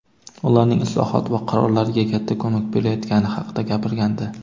ularning islohot va qarorlarga katta ko‘mak berayotgani haqida gapirgandi.